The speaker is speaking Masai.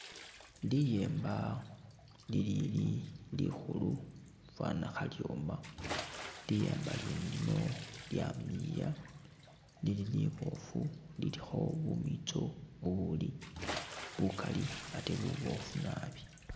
Liyemba li lili likhulu ifana khalyoma, liyemba lyene lino lyamiliya lili libofu lilikho bumitso bubuli bukali ate bubofu nabi.